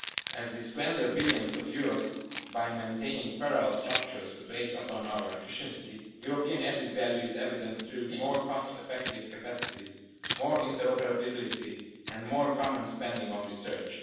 As we squander billions of euros by maintaining parallel structures, which weighs upon our efficiency, European added value is evident through more cost effective capacities, more interoperability and more common spending on research.